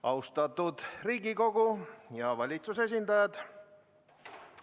Austatud Riigikogu ja valitsuse esindajad!